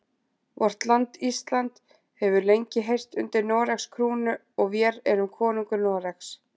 Vort land Ísland hefur lengi heyrt undir Noregs krúnu og vér erum konungur Noregs.